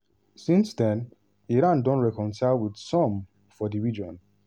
since den iran don reconcile wit some for di region.